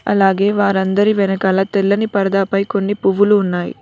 అలాగే వారందరి వెనకాల తెల్లని పరదా పై కొన్ని పువ్వులు ఉన్నాయి.